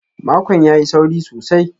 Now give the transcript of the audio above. Makon ya yi sauri sosai.